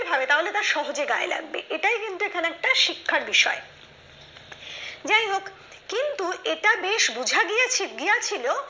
তাহলে তার সহজে গায়ে লাগবে এটাই কিন্তু এখানে একটা শিক্ষার বিষয় যাই হোক কিন্তু এটা বেশ বুঝা গিয়াছে গিয়াছিল